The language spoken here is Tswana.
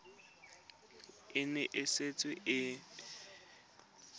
e ne e setse e